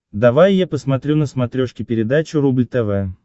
давай я посмотрю на смотрешке передачу рубль тв